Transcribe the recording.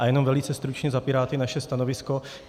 A jenom velice stručně za Piráty naše stanovisko.